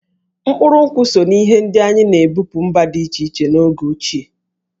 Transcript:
Mkpụrụ nkwụ so n'ihe ndị anyị na-ebupu mba dị iche iche n'oge ochie.